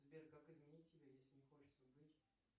сбер как изменить себя если не хочется быть